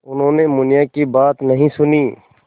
उन्होंने मुनिया की बात नहीं सुनी